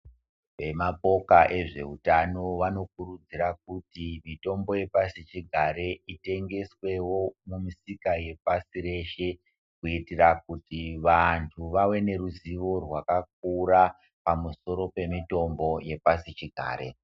Vemapoka ezveutano vanokurudzira kuti mitombo yepasi chigare itengeswewo mumisika yepasi reshe kuitira kuti vantu vave neruzivo rwakakura pamusoro pemitombo yepasi chigare.